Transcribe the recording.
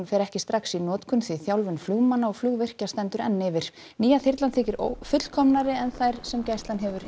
fer ekki strax í notkun því þjálfun flugmanna og flugvirkja stendur enn yfir nýja þyrlan þykir fullkomnari en þær sem gæslan hefur